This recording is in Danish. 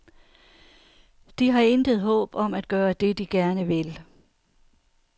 De har intet håb om at gøre det, de gerne vil.